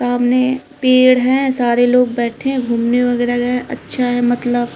सामने पेड़ हैं सारे लोग बैठे हैं घूमने वगैरा गए हैंअच्छा है मतलब।